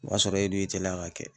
O y'a sɔrɔ e dun y'i teliya k'a kɛ.